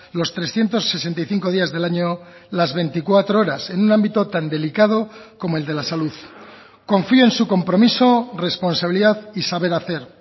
los trescientos sesenta y cinco días del año las veinticuatro horas en un ámbito tan delicado como el de la salud confío en su compromiso responsabilidad y saber hacer